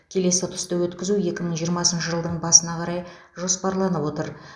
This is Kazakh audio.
келесі ұтысты өткізу екі мың жиырмасыншы жылдың басына қарай жоспарланып отыр